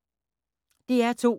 DR2